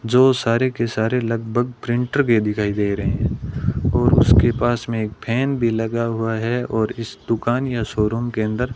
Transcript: जो सारे के सारे लगभग प्रिंटर के दिखाई दे रहे है और उसके पास में एक फैन भी लगा हुआ है और इस दुकान या शोरूम के अंदर --